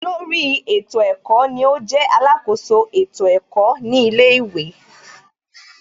Olórí ètò ẹ̀kọ́ ni ó jẹ́ alákoso ètò ẹ̀kọ́ ní ilé ìwé